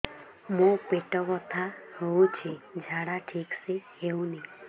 ମୋ ପେଟ ବଥା ହୋଉଛି ଝାଡା ଠିକ ସେ ହେଉନି